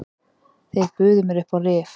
Þeir buðu mér upp á rif.